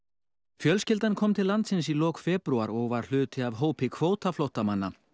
fjölskyldan kom til landsins í lok febrúar og var hluti af hópi kvótaflóttamanna